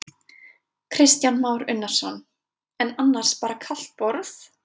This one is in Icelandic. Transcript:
Kristján Már Unnarsson: En annars bara kalt borð?